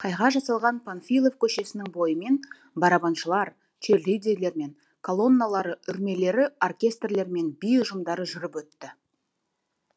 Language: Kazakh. қайға жасалған панфилов көшесінің бойымен барабаншылар черлидерлер мен колонналары үрлемелері оркестрлер мен би ұжымдары жүріп өтті